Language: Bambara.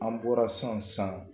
An bɔra san san